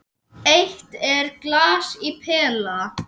Eitt er glas í pela.